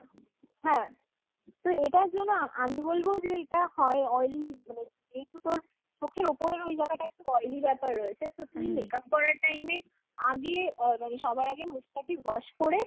হ্যাঁ। তো এটার জন্য আমি বলবো যে এটা হয় oily মানে যেহেতু তোর চোখের ওপরের ওই জায়গাটা একটু oily ব্যাপার রয়েছে makeup করার time এ আগে আ সবার আগে মুখটাকে wash করে